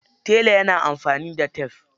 Tele yana amfani da tef.